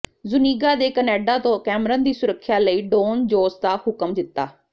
Zuniga ਨੇ Canada ਤੋਂ Cameron ਦੀ ਸੁਰੱਖਿਆ ਲਈ ਡੌਨ ਜੋਸ ਦਾ ਹੁਕਮ ਦਿੱਤਾ